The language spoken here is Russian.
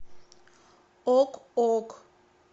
ок ок